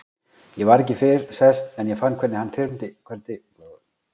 Ég var ekki fyrr sest en ég fann hvernig þyrmdi yfir mig.